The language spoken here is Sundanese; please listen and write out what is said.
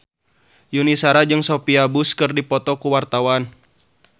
Yuni Shara jeung Sophia Bush keur dipoto ku wartawan